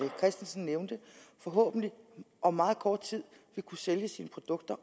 christensen nævnte forhåbentlig om meget kort tid vil kunne sælge sine produkter